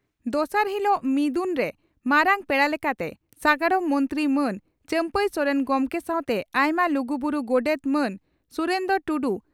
ᱫᱚᱥᱟᱨ ᱦᱤᱞᱚᱜ ᱢᱤᱫᱩᱱ ᱨᱮ ᱢᱟᱨᱟᱝ ᱯᱮᱲᱟ ᱞᱮᱠᱟᱛᱮ ᱥᱟᱜᱟᱲᱚᱢ ᱢᱚᱱᱛᱨᱤ ᱢᱟᱱ ᱪᱟᱢᱯᱟᱹᱭ ᱥᱚᱨᱮᱱ ᱜᱚᱢᱠᱮ ᱥᱟᱣᱛᱮ ᱟᱭᱢᱟ ᱞᱩᱜᱩ ᱵᱩᱨᱩ ᱜᱚᱰᱮᱛ ᱢᱟᱱ ᱥᱩᱨᱮᱱᱫᱽᱨᱚ ᱴᱩᱰᱩ